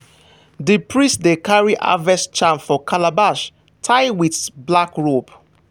the priest dey carry harvest charm for calabash tie with black rope.